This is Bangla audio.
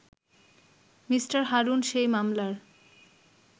মি. হারুন সেই মামলার